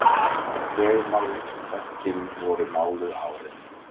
Veggmálverkin voru máluð árið